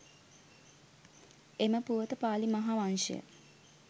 එම පුවත පාලි මහා වංශය